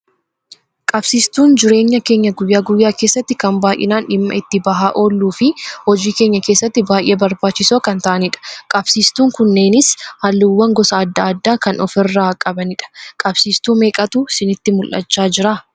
Qabsiistuun jireenya keenya guyyaa guyyaa keessatti kan baayyinaan dhimma itti bahaa oolluu fi hojii keenya keessatti baayyee barbaachisoo kan ta'anidha. Qabsiistuun kunneenis halluuwwan gosa addaa addaa kan ofirraa qabanidha. qabsiistuu meeqatu isinitti mul'achaa jira?